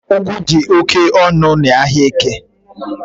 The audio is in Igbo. Ugwu di oke onu n’Ahiaeke